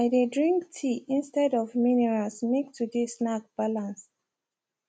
i dey drink tea instead of mineral make today snack balance